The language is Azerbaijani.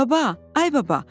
Baba, ay baba!